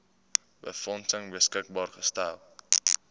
befondsing beskikbaar gestel